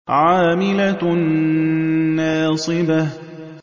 عَامِلَةٌ نَّاصِبَةٌ